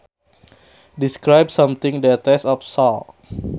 Describes something that tastes of salt